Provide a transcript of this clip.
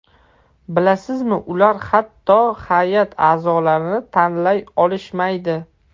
Bilasizmi ular hatto hay’at a’zolarini tanlay olishmaydi.